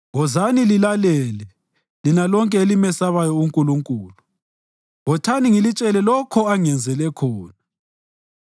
Wozani lilalele, lina lonke elimesabayo uNkulunkulu; wothani ngilitshele lokho angenzele khona.